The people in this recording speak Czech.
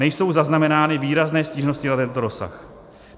Nejsou zaznamenány výrazné stížnosti na tento rozsah.